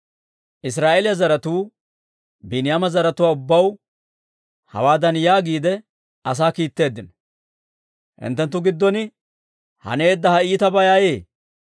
Israa'eeliyaa zaratuu Biiniyaama zaratuwaa ubbaw hawaadan yaagiide asaa kiitteeddino; «Hinttenttu giddon haneedda ha iitabay ayee?